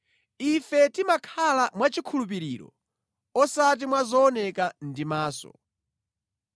Ife timakhala mwachikhulupiriro, osati mwa zooneka ndi maso.